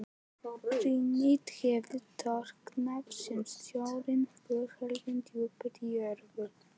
Granít hefur storknað sem stórir berghleifar djúpt í jörðu.